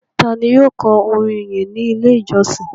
Ta ni yóò kọ orin ìyìn ní Ilé-ìjọsìn?